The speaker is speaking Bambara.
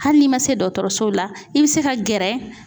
Hali n'i ma se dɔkɔtɔrɔsow la i bi se ka gɛrɛ